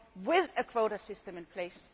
with a quota system in place,